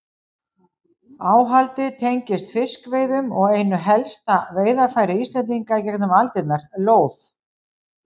Áhaldið tengist fiskveiðum og einu helsta veiðarfæri Íslendinga í gegnum aldirnar, lóð.